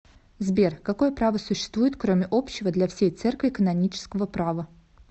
сбер какое право существует кроме общего для всей церкви канонического права